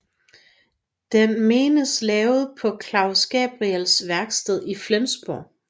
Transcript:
Den menes lavet på Claus Gabriels værksted i Flensborg